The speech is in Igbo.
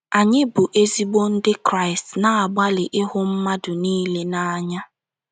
Anyị bụ́ ezigbo Ndị Kraịst na - agbalị ịhụ mmadụ niile n’anya.